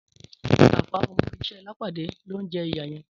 Tàfá ọmọ iṣẹ́ Lápàdé ló ń jẹ ìyà yẹn.